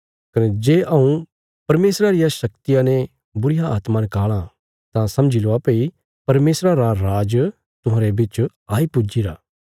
कने जे हऊँ परमेशरा रिया शक्तिया ने बुरीआत्मा नकाल़ां तां समझील्वा भई परमेशरा रा राज तुहांरे बिच आई पुज्जीरा